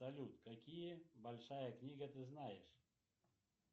салют какие большая книга ты знаешь